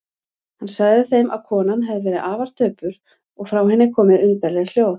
Hann sagði þeim að konan hefði verið afar döpur og frá henni komið undarleg hljóð.